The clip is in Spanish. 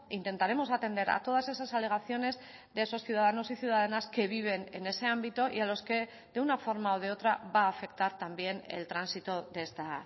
intentaremos atender a todas esas alegaciones de esos ciudadanos y ciudadanas que viven en ese ámbito y a los que de una forma o de otra va a afectar también el tránsito de esta